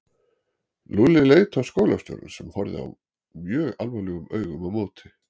Lúlli leit á skólastjórann sem horfði mjög alvarlegum augum á móti.